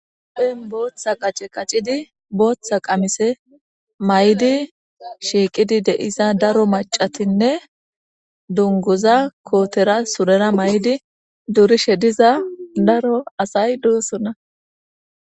Apen booththa qace qacidi booththa qamise may7idi shiiqidi deiza daro macatinne dongoza kootera surera may7di durishe diza daro asay doosona.